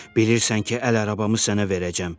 Bilirsən ki, əl arabamı sənə verəcəm.